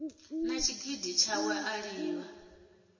na tshigidi tshawe a livha